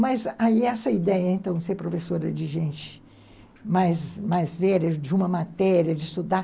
Mas aí essa ideia, então, de ser professora de gente mais mais velha, de uma matéria, de estudar.